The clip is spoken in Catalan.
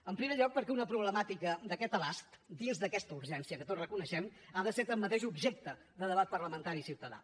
en primer lloc perquè una problemàtica d’aquest abast dins d’aquesta urgència que tots reconeixem ha de ser tanmateix objecte de debat parlamentari i ciutadà